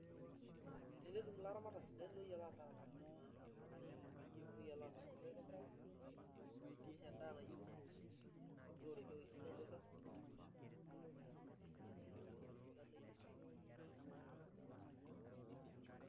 Tenetum ilaramatak sidain ooyiolo aataramat nena ooyiolo aataramat aitobiraki nisho enda nayieu neoroki ewuei sidai nairrag netum atisidana ine netii.